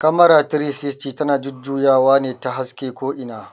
"Camera 360" ta na jujjuyawa ne ta haska ko ina